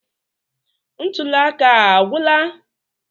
Ntuli aka a agwụla?